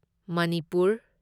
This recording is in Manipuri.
ꯃꯅꯤꯄꯨꯔ